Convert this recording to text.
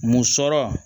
Mun sɔrɔ